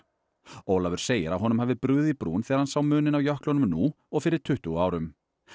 Ólafur segir að honum hafi brugðið í brún þegar hann sá muninn á jöklunum nú og fyrir tuttugu árum